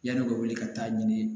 Yan'o ka wuli ka taa ɲini